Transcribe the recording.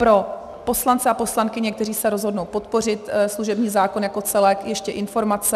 Pro poslance a poslankyně, kteří se rozhodnou podpořit služební zákon jako celek, ještě informace.